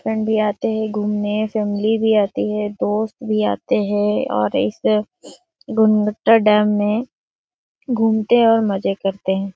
Friend भी आते है घुमने संगी भी आती है दोस्त भी आते हैं और इस डैम में घुमते और मजे करते हैं।